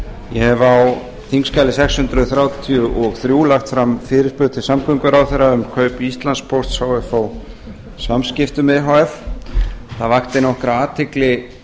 hef á þingskjali sex hundruð þrjátíu og þrjú lagt fram fyrirspurn til samgönguráðherra um kaup íslandspósts h f á samskiptum e h f það vakti nokkra athygli